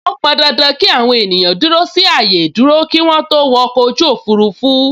Ó pọn dandan ki àwọn ènìyàn dúró sí ààyè ìdúró kí wọn tó wọ ọkọ̀ ojú òfurufú